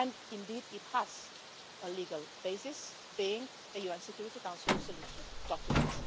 Indeed it has a legal basis, being a UN Security Council resolution document.